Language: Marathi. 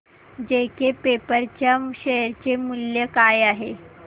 जेके पेपर च्या शेअर चे मूल्य काय आहे